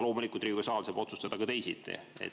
Loomulikult aga saab Riigikogu saal otsustada teisiti.